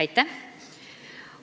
Aitäh!